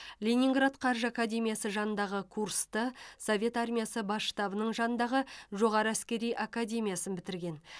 ленинград қаржы академиясы жанындағы курсты совет армиясы бас штабының жанындағы жоғары әскери академияны бітірген